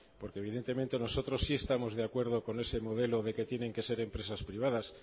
porque evidentemente nosotros sí estamos de acuerdo con ese modelo de que tiene que ser empresas privadas